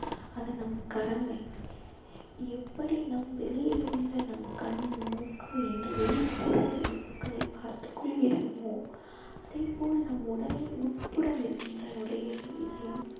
அது நம் கடமை எப்படி நம் வெளியில் உள்ள நம் கண் மூக்கு என்று வெளிப்புற உறுப்புகளை பார்த்துக் கொள்கிறோமோ அதே போல் நம் உடலில் உட்புறம் இருக்கின்ற நுரையீரல் இதயம்